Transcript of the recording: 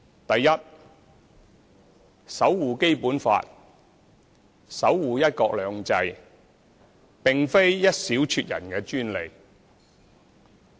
第一，守護《基本法》，守護"一國兩制"，並非一小撮人的專利。